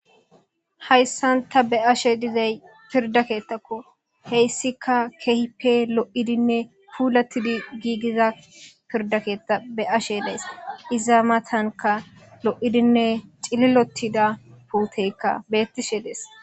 Hayssan ta be'ashe dizay pirda keettakko. He issika keehippe lo'idinne puulattid giigiza pirda keeththa be'ashe days. Iza matanka lo'idinne cililotida puuteykka bettishe dees.